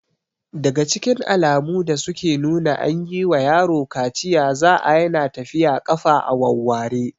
Daga cikin alamu da suke nuna an yi wa yaro kaciya za'a Yana tafiya ƙafa a wawware